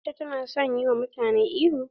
Aisha ta na son yi wa mutane ihu.